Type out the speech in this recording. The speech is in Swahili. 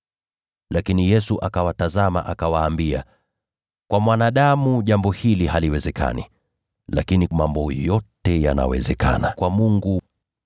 Lakini Yesu akawatazama, akawaambia, “Kwa mwanadamu jambo hili haliwezekani, lakini mambo yote yanawezekana kwa Mungu.”